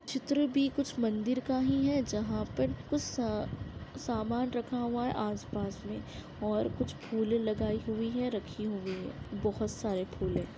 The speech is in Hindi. चित्र भी कुछ मंदिर का ही है जहाँ पर कुछ स सामान रखा हूआ है आसपास मे और कुछ फुले लगाई हुई है रखी हुई है बहुत सारे फुल है।